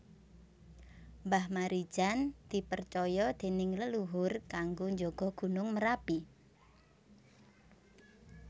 Mbah Marijan dipercoyo dening leluhur kanggo njogo Gunung Merapi